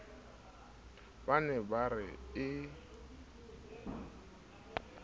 ba ne ba re e